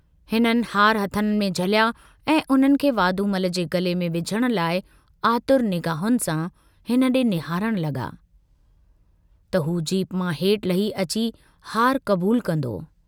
हिननि हार हथनि में झलिया ऐं उन्हनि खे वाधूमल जे गले में विझण लाइ आतुर निगाहुनि सां हिन डे निहारण लगा, त हू जीप मां हेठ लही अची हार कबूल कन्दो।